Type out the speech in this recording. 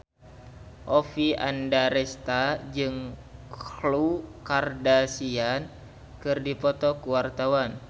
Oppie Andaresta jeung Khloe Kardashian keur dipoto ku wartawan